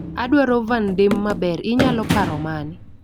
Adwaro van damee maber inyalo paro mane?